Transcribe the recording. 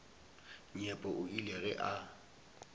nyepo o ile ge a